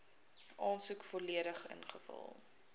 aansoek volledig ingevul